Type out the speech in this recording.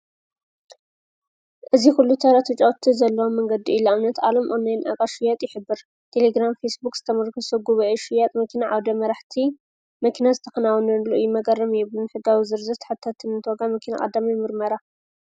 እዚ ዂሉ ተረተጫውቲ ዘለዋ መንገዲ ኢዩ፡፡ ንኣብነት ዓብይ ናይ ንኣቓሓ ሽያጥ ይሕብር፡፡ ቴሌግራም ፊስቡክ ዝተምርክሶ ጕበኤ ሽያጥ መኪና ዓውደ መራሕቲ መኪና ዝተኽናወነሉ እዩ መገረምዩ ንሕጋዊ ዝርዝር ሓታትነር ዋጋ መኪና ቐዳማይ ምርመራ፡፡